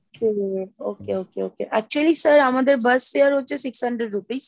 okay okay okay okay actually sir আমাদের bus shear হচ্ছে six hundred rupees,